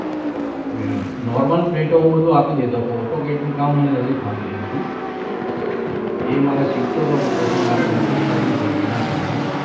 આ normal print હું બધું આપી દેતો પણ autocad નું કામ મને નતું ફાવી રહ્યું હતું એ મારે શીખતો હતો પણ પછી મારે નોકરી છોડવી પડી એના કારણે